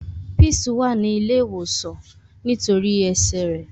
Peace wa ni ile ìwòsàn nitori ẹsẹ rẹ.